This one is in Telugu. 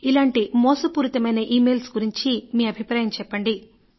ఇలాంటి మోసపూరితమైన ఇమెయిల్స్ గురించి మీ అభిప్రాయం చెప్పండి